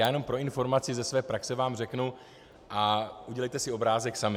Já jenom pro informaci ze své praxe vám řeknu a udělejte si obrázek sami.